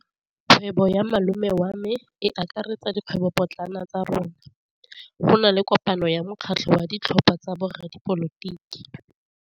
Kgwêbô ya malome wa me e akaretsa dikgwêbôpotlana tsa rona. Go na le kopanô ya mokgatlhô wa ditlhopha tsa boradipolotiki.